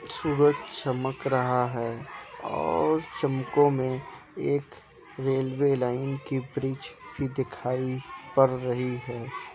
सूरज चमक रहा है और चमकों में एक रेलवे लाइन की ब्रिज भी दिखाई पड़ रही है।